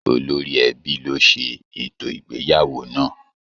Olóri ẹbí ló se ètò ìgbéyàwó náà.